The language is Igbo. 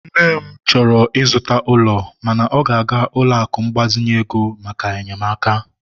nne m chọrọ ịzụta ụlọ, mana ọ ga-aga ụlọ akụ mgbazinye ego maka enyemaka